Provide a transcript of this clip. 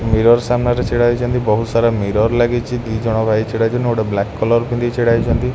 Mirror ସାମ୍ନା ରେ ଛିଡ଼ା ହେଇଚନ୍ତି ବହୁତ ସାରା ମିରର ଲାଗିଚି ଦି ଜଣ ଭାଇ ଛିଡ଼ା ହେଇଚନ୍ତି ଆଉ ଗୋଟେ ବ୍ଲାକ କଲର୍ ପିନ୍ଧି ଛିଡ଼ା ହେଇଚନ୍ତି।